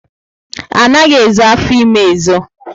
Anaghị ezo afọ ímé ezo